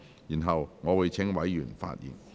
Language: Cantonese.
然後，我會請委員發言。